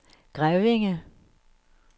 Grevinge